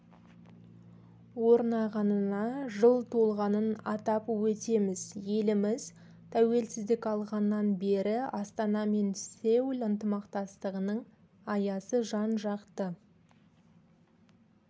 орнағанына жыл толғанын атап өтеміз еліміз тәуелсіздік алғаннан бері астана мен сеул ынтымақтастығының аясы жан-жақты